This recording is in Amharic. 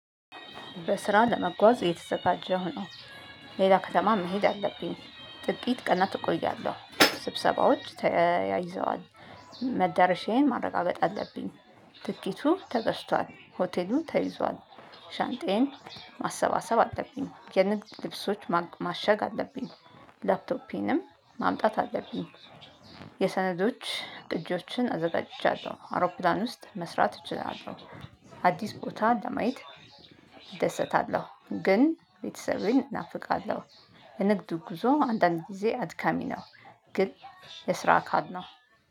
ለስራ ለመጓዝ እየተዘጋጀሁ ነው። ሌላ ከተማ መሄድ አለብኝ። ጥቂት ቀናት እቆያለሁ ስብሰባዎች ተያይዘዋል። መዳረሻዬን ማረጋገጥ አለብኝ። ትኬቱ ተገዝቷል ሆቴሉ ተይዟል። ሻንጣዬን ማሰባሰብ አለብኝ የንግድ ልብሶች ማሸግ አለብኝ። ላፕቶፔንም ማምጣት አለብኝ። የሰነዶች ቅጆችን አዘጋጅቻለሁ አውሮፕላን ውስጥ መስራት እችላለሁ። አዲስ ቦታ ለማየት እደሰታለሁ። ግን ቤተሰቤን እናፍቃለሁ። የንግዱ ጉዞ አንዳንድ ጊዜ አድካሚ ነው። ግን የስራ አካል ነው።